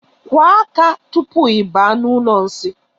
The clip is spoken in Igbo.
Kụọ aka tupu I baa n'ụlọ nsi.